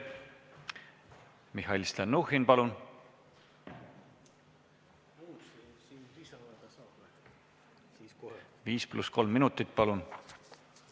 Mihhail Stalnuhhin, 5 + 3 minutit, palun!